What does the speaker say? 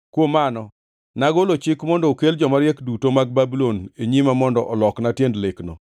Kuom mano nagolo chik mondo okel jomariek duto mag Babulon e nyima mondo olokna tiend lekno.